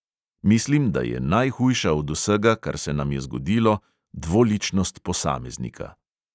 Mislim, da je najhujša od vsega, kar se nam je zgodilo, dvoličnost posameznika.